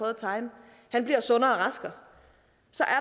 at tegne bliver sundere og raskere